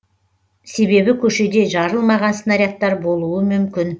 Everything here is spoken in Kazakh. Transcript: себебі көшеде жарылмаған снарядтар болуы мүмкін